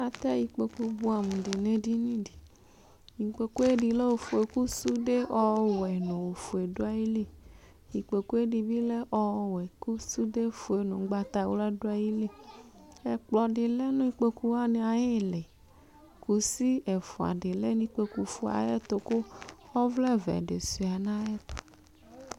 Atɛ ikpokʋ bʋɛamʋ nʋ edini di ikpokʋ ɛdi lɛ ofue kʋ sude ɔwɛ nʋ ofue dʋ ayili ikpokʋ ɛdibi lɛ ɔwɛ kʋ sʋdefue nʋ ʋgbatawla dʋ ayili ɛkplɔdi lɛnʋ ikpokʋ wani ayʋ iili kʋsi ɛfʋadi lenʋ ikpokʋ ayɛtʋ kʋ ɔvlɛvɛ di suia nʋ ayʋɛtʋ